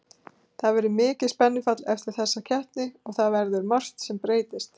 Það verður mikið spennufall eftir þessa keppni og það verður margt sem breytist.